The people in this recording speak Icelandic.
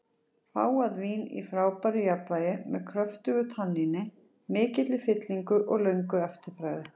Fágað vín í frábæru jafnvægi, með kröftugu tanníni, mikilli fyllingu og löngu eftirbragði.